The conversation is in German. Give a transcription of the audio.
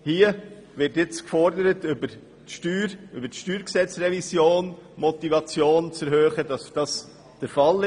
Hier wird gefordert, über die Steuergesetzrevision die Motivation dafür zu erhöhen.